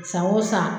San o san